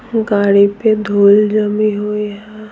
गाड़ी पे धूल जमी हुई है।